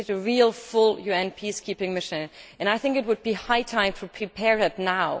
we need a full UN peacekeeping mission and I think it would be high time to prepare for it now.